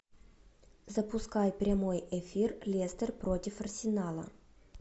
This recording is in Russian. запускай прямой эфир лестер против арсенала